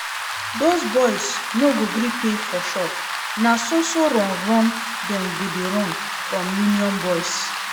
Doz boys no go gree pay for shop, na so so run run dem go dey run from union boys